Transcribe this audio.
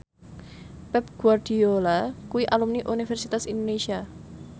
Pep Guardiola kuwi alumni Universitas Indonesia